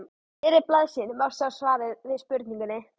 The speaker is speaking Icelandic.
miðri blaðsíðunni má sjá svarið við spurningunni